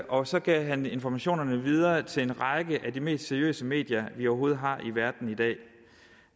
og så gav han informationerne videre til en række af de mest seriøse medier vi overhovedet har i verden i dag